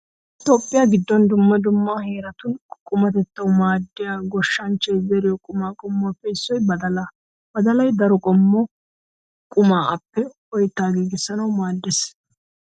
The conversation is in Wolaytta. Toophphiya giddon dumma dumma heeratun qumatettawu maaddiya goshshanchchay zeriyo qumaa qommuwappe issoy badalaa. Badalay daro qommo qumaa appe oytta giigissanawu maaddees.